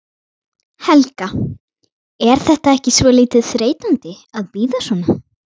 Helga: Er þetta ekki svolítið þreytandi að bíða svona?